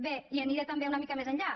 bé i aniré també una mica més enllà